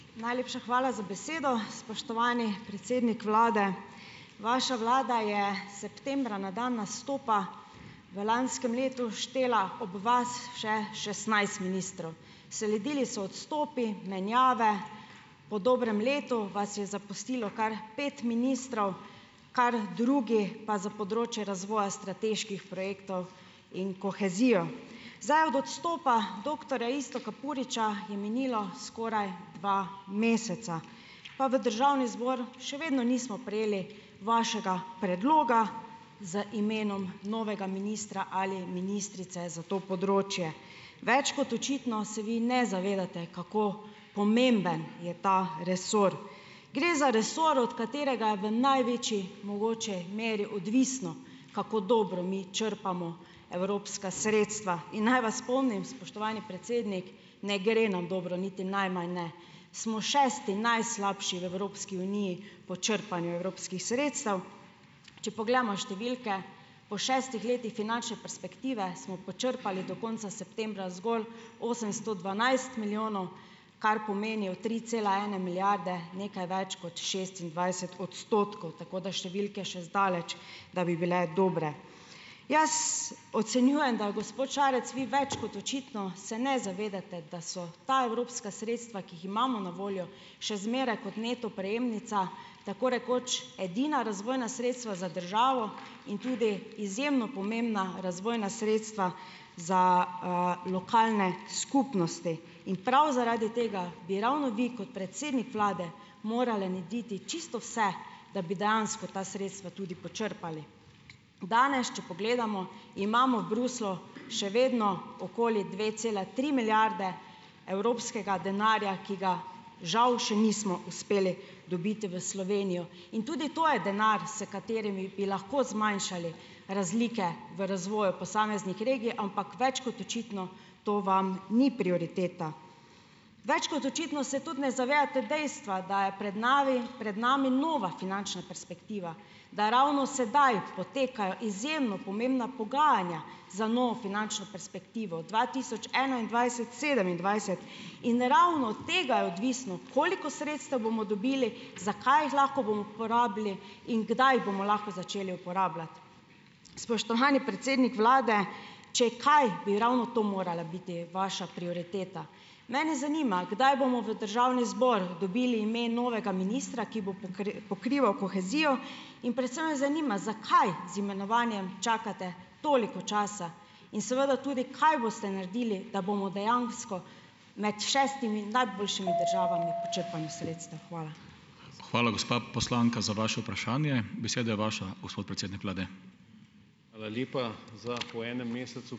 Najlepša hvala za besedo. Spoštovani predsednik vlade! Vaša vlada je septembra na dan nastopa v lanskem letu štela ob vas še šestnajst ministrov. Sledili so odstopi, menjave, po dobrem letu vas je zapustilo kar pet ministrov, kar drugi pa za področje razvoja strateških projektov in kohezijo. Zdaj od odstopa doktorja Iztoka Puriča je minilo skoraj dva meseca, pa v državni zbor še vedno nismo prejeli vašega predloga z imenom novega ministra ali ministrice za to področje. Več kot očitno se vi ne zavedate, kako pomemben je ta resor. Gre za resor, od katerega je v največji mogoči meri odvisno, kako dobro mi črpamo evropska sredstva, in naj vas spomnim, spoštovani predsednik, ne gre nam dobro, niti najmanj ne. Smo šesti najslabši v Evropski uniji po črpanju evropskih sredstev. Če pogledamo številke, po šestih letih finančne perspektive smo počrpali do konca septembra zgolj osemsto dvanajst milijonov, kar pomeni tri cela ena milijarde, nekaj več kot šestindvajset odstotkov, tako da številke še zdaleč, da bi bile dobre. Jaz ocenjujem, da, gospod Šarec, vi več kot očitno se ne zavedate, da so ta evropska sredstva, ki jih imamo na voljo, še zmeraj kot neto prejemnica tako rekoč edina razvojna sredstva za državo in tudi izjemno pomembna razvojna sredstva za, lokalne skupnosti. In prav zaradi tega bi ravno vi kot predsednik vlade morali narediti čisto vse, da bi dejansko ta sredstva tudi počrpali. Danes, če pogledamo, imamo v Bruslju še vedno okoli dve celi tri milijarde evropskega denarja, ki ga žal še nismo uspeli dobiti v Slovenijo. In tudi to je denar, s katerim bi lahko zmanjšali razlike v razvoju posameznih regij, ampak več kot očitno to vam ni prioriteta. Več kot očitno se tudi ne zavedate dejstva, da je pred navi pred nami nova finančna perspektiva, da ravno sedaj potekajo izjemno pomembna pogajanja za novo finančno perspektivo dva tisoč enaindvajset-dva tisoč sedemindvajset. In ravno od tega je odvisno, koliko sredstev bomo dobili, za kaj jih lahko bomo porabili in kdaj bomo lahko začeli uporabljati. Spoštovani predsednik vlade, če kaj, bi ravno to morala biti vaša prioriteta. Mene zanima, kdaj bomo v državni zbor dobili ime novega ministra, ki bo pokrival kohezijo, in predvsem me zanima, zakaj z imenovanjem čakate toliko časa, in seveda tudi, kaj boste naredili, da bomo dejansko med šestimi najboljšimi državami po črpanju sredstev. Hvala.